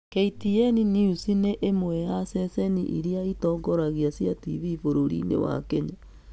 KTN News nĩ ĩmwe ya ceceni iria itongoragia cia TV bũrũriinĩ wa Kenya.